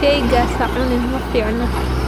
Shaygaas ha cunin, ma fiicna.